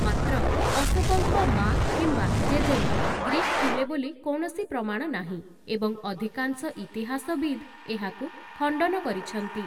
ମାତ୍ର, ଅଶୋକଙ୍କ ମା କିମ୍ବା ଜେଜେମାଆ ଗ୍ରୀକ୍ ଥିଲେ ବୋଲି କୌଣସି ପ୍ରମାଣ ନାହିଁ, ଏବଂ ଅଧିକାଂଶ ଇତିହାସବିଦ୍ ଏହାକୁ ଖଣ୍ଡନ କରିଛନ୍ତି ।